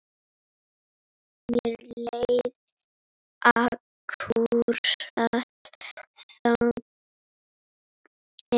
Mér leið akkúrat þannig.